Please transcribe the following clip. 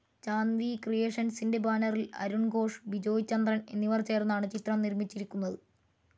Chand V ക്രിയേഷൻസിന്റെ ബാനറിൽ അരുൺ ഘോഷ്, ബിജോയ് ചന്ദ്രൻ എന്നിവർ ചേർന്നാണ് ചിത്രം നിർമ്മിച്ചിരിക്കുന്നത്.